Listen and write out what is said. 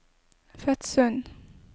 Fetsund